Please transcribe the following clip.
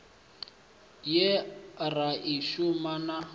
ye ra i sumba na